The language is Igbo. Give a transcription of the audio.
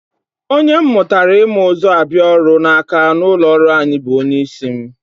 Onye m mụtara ịma ụzọ abịa ọrụ n'aka n'ụlọọrụ anyị bụ onyeisi m